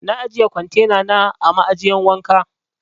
Na ajiye kwantena a ma'ajiyan wanka.